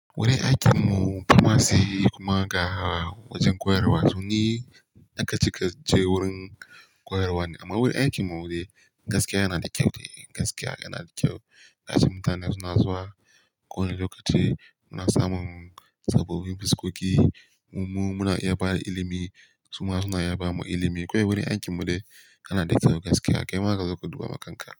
Wurin aikin mu, firamari kuma ga wajen koyarwa, to ni. Daga cike je wurin koyarwa ne. Amma wurin aikin mu dai gaskiya yana da kyau ne, gaskiya yana da kyau. Ƙasar mutane suna zuwa ko wani lokaci muna samun sabobin fuskoki, mu muna iya ba da ilimi, su ma suna iya ba mu ilimi. Kawai wurin aikin mu dai yana da kyau gaskiya, kai ma ka zo ka duba maganka.